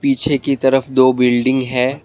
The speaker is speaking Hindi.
पीछे की तरफ दो बिल्डिंग है।